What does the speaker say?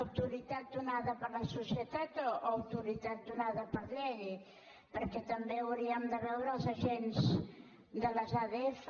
autoritat donada per la societat o autoritat donada per llei perquè també hauríem de veure si els agents de les adf